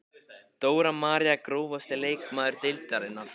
Dóra María Grófasti leikmaður deildarinnar?